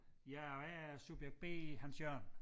Ja og jeg er subjekt B Hans Jørgen